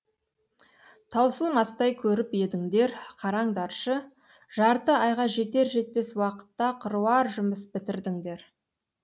таусылмастай көріп едіңдер қараңдаршы жарты айға жетер жетпес уақытта қыруар жұмыс бітірдіңдер